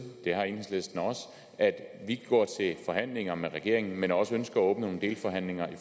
det har enhedslisten også at vi går til forhandlinger med regeringen men også ønsker at åbne nogle delforhandlinger